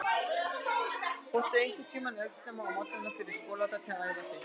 Fórstu einhvern tímann eldsnemma á morgnana fyrir skóladag til þess að æfa þig?